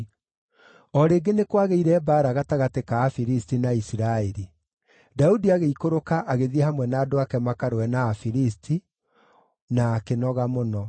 O rĩngĩ nĩ kwagĩire mbaara gatagatĩ ka Afilisti na Isiraeli. Daudi agĩikũrũka agĩthiĩ hamwe na andũ ake makarũe na Afilisti, na akĩnoga mũno.